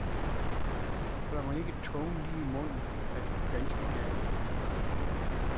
Holder man ikke tungen lige i munden, kan det gå ganske galt.